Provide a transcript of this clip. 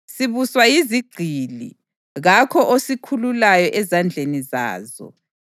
Sibuswa yizigqili, kakho osikhululayo ezandleni zazo.